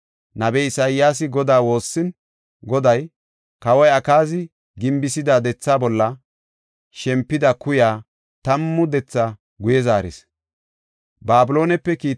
Nabey Isayaasi Godaa woossin, Goday Kawoy Akaazi gimbisida dethaa bolla shempida kuyay tammu dethaa guye zaaris.